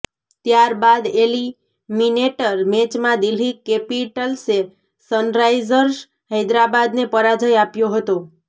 ત્યારબાદ એલિમિનેટર મેચમાં દિલ્હી કેપિટલ્સે સનરાઈઝર્સ હૈદરાબાદને પરાજય આપ્યો હતો